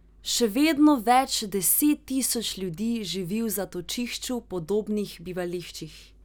Še vedno več deset tisoč ljudi živi v zatočišču podobnih bivališčih.